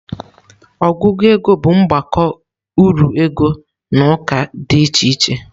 Ọgụgụ ego bụ mgbakọ uru ego n'ụka dị iche iche.